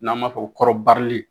N'an b'a fɔ ko kɔrɔbarili